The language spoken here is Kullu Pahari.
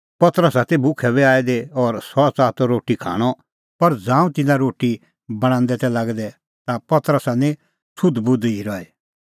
पतरसा ती भुखै बी आई दी और सह च़ाहा त रोटी खाणअ पर ज़ांऊं तिंयां रोटी बणांदै तै लागै दै ता पतरसा निं सुधबुध ई रही